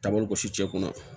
Taabolo gosi cɛ kunna